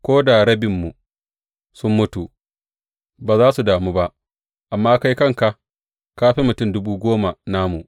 Ko da rabinmu sun mutu, ba za su damu ba; amma kai kanka ka fi mutum dubu goma namu.